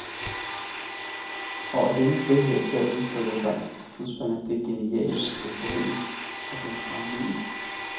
Og af denne frihed til at udtrykke sig udspringer det geniale, euforien og den brændende ild.